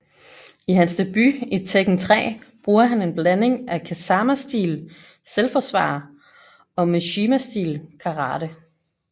I hans debut i Tekken 3 brugte han en blanding af Kazama stil selvforsvar og Mishima stil Karate